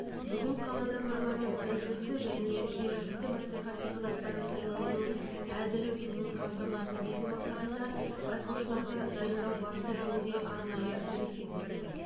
бүгін қалада парламент мәжілісі және жергілікті мәслихат депутаттары сайлауының әділ өтуін қамтамасыз ету мақсатында байқаушыларды дайындау барысы жөнінде арнайы брифинг өтті